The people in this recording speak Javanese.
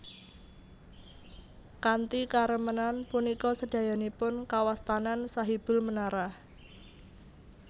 Kanthi karemenan punika sedayanipun kawastanan Sahibul Menara